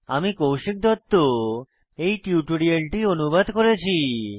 আমি কৌশিক দত্ত এই টিউটোরিয়ালটি অনুবাদ করেছি